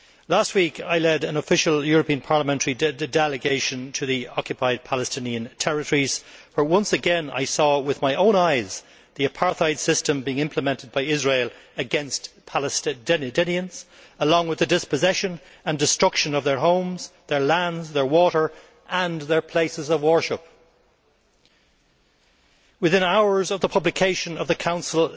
Last week, I led an official European Parliament delegation to the occupied Palestinian territories where, once again, I saw with my own eyes the apartheid system being implemented by Israel against Palestinians, along with the dispossession and destruction of their homes, their lands, their water and their places of worship. Within hours of the publication of the Council